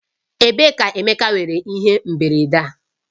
Ebee ka Emeka nwere ihe mberede a?